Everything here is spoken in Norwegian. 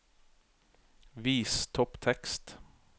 Vis topptekst